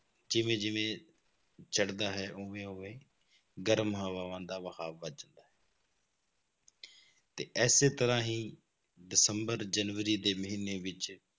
ਜਿਵੇਂ ਜਿਵੇਂ ਚੜ੍ਹਦਾ ਹੈ ਉਵੇਂ ਉਵੇਂ ਗਰਮ ਹਵਾਵਾਂ ਦਾ ਵਹਾਅ ਵੱਧ ਜਾਂਦਾ ਹੇ ਤੇ ਇਸੇ ਤਰ੍ਹਾਂ ਹੀ ਦਸੰਬਰ ਜਨਵਰੀ ਦੇ ਮਹੀਨੇ ਵਿੱਚ